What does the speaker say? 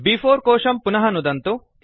ब्4 कोशं पुनः नुदन्तु